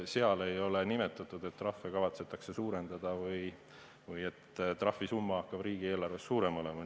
Seal ei ole nimetatud, et trahve kavatsetakse suurendada või et trahvisumma peab riigieelarves suurem olema.